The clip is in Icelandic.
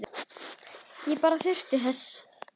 Ég bara þurfti þess.